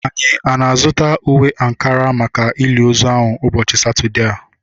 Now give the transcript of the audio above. Anyị ana-azụta uwe ankara maka ili ozu ahu ụbọchị Satọdee a?